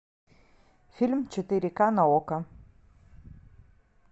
фильм четыре ка на окко